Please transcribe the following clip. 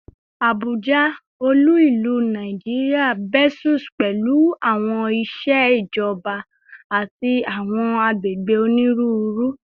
Abuja, olu-ilu Naijiria, bustles pẹlu awọn iṣẹ ijọba ati awọn agbegbe oniruuru